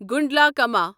گنڈلاکما